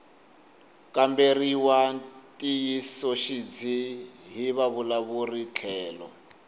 kamberiwa ntiyisoxidzi hi vavulavuri tlhelo